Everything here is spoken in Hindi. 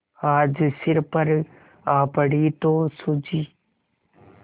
आज सिर पर आ पड़ी तो सूझी